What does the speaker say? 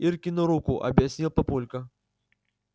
иркину руку объяснил папулька